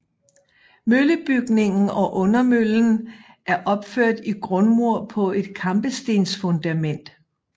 Møllebygningen og undermøllen er opført i grundmur på et kampestensfundament